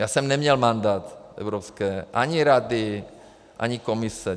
Já jsem neměl mandát evropské - ani Rady, ani Komise.